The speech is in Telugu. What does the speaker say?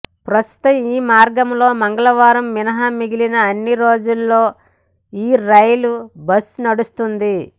ప్రస్తుతం ఈ మార్గంలో మంగళవారం మినహా మిగిలిన అన్ని రోజుల్లో ఈ రైల్ బస్ నడుస్తోంది